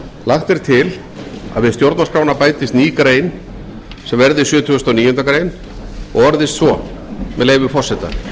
lagt er til að við stjórnarskrána bætist ný grein sem verði sjötugasta og níundu greinar og orðist svo með leyfi forseta